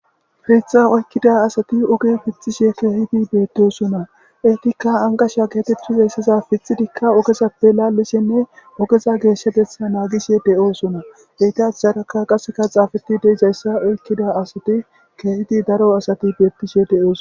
Fitha oykkida asati oge pixishe keehidi beetdosonna etikka angasha geetetthuzaysseza pixidikka ogezappe laallishenne ogeza geeshsha dessa naagishe de7oosona beyta athaharakka qaseka xaafeti deizayssa oykkida asati keehiti daro asati beettishe deoos.